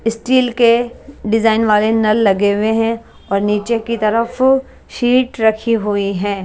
Steel के design वाले नल लगे हुए हैं और नीचे की तरफ शीट रखी हुई है।